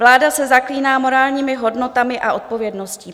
Vláda se zaklíná morálními hodnotami a odpovědností.